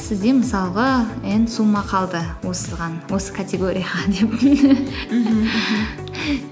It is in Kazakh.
сізде мысалға н сумма қалды осыған осы категорияға деп